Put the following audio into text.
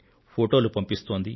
ఫొటోలు పంపిస్తోంది